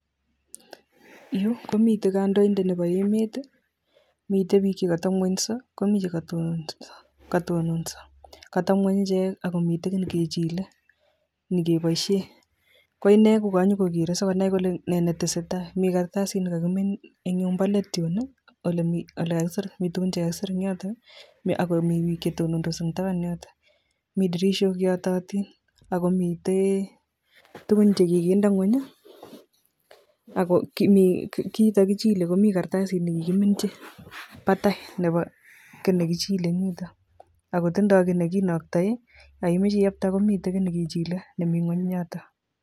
Yuu komiten kondointet nebo emet, miten biik chekotebngwenyso komii chekotononso, koteb ngweny icheek ak komiten kiit nekechile nekeboishe, ko inee kokanyokokeree sikonai kole nee netesetai mii karstasit nekokimin eng' yumbo leet yuun olekakisir mii tukuk chekakisir en yoton ak komii biik chetonondos en taban yoton, Mii tirishok cheyototin ak komiten tukun chekokinde ngweny ak mii kiiton kochile komii kartasit nekikiminchi batai kii nekichile en yuton ak kotindo kii nekinoktoe Yoon imoche iyokte komii kiit nekechile nemii ngweny yotok.